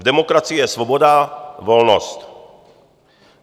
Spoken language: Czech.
V demokracii je svoboda, volnost.